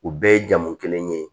U bɛɛ ye jamu kelen ye